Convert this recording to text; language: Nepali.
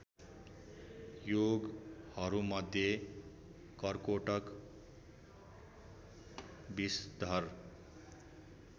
योगहरूमध्ये कर्कोटक विषधर